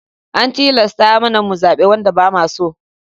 An tilasta mana mu zaɓe wanda ba mu so.